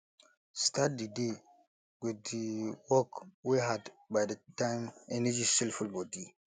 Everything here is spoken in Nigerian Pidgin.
start di day with di work wey hard by that time energy still full body